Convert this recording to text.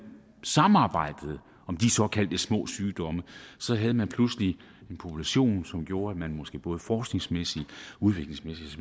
samarbejdede om de såkaldte små sygdomme havde man pludselig en population som gjorde at man måske både forskningsmæssigt udviklingsmæssigt